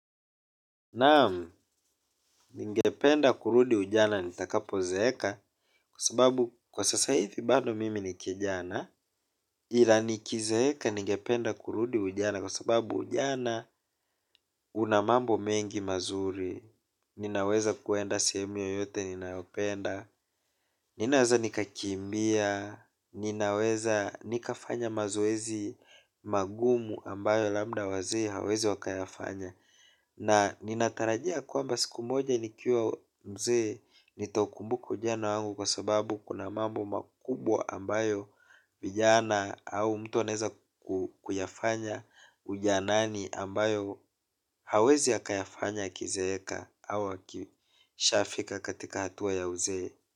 Naam, ningependa kurudi ujana nitakapo zeeka kwa sababu kwa sasa hivi bado mimi ni kijana ila nikizeeka ningependa kurudi ujana kwa sababu ujana una mambo mengi mazuri. Ninaweza kuenda sehemu yoyote ninayopenda ninaweza nikakimbia, ninaweza nikafanya mazoezi magumu ambayo labda wazee hawezi wakayafanya. Na nina tarajia kwamba siku moja nikiwa mzee nitau kumbuka ujana wangu kwa sababu kuna mambo makubwa ambayo vijana au mtu anaweza kuyafanya ujanani ambayo hawezi akayafanya akizeeka au akishafika hatua ya uzee.